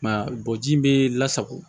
I m'a ye bɔji bɛ lasago